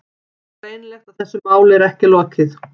Greinilegt að þessu máli er ekki lokið.